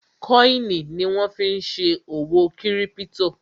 kọ́ìnì ni wọ́n fí n ṣe òwò kírípítò